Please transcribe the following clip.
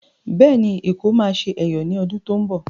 Bẹ́ẹ̀ ni, Èkó máa ṣe Ẹ̀yọ̀ ní Ọdún tó ń bọ̀.